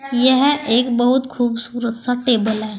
यह एक बहुत खूबसूरत सा टेबल है।